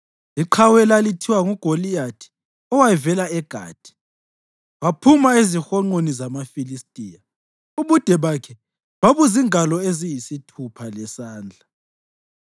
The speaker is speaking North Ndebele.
Iqhawe elalithiwa nguGoliyathi, owayevela eGathi, waphuma ezihonqweni zamaFilistiya. Ubude bakhe babuzingalo eziyisithupha lesandla.